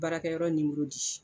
Baarakɛyɔrɔ nimoro di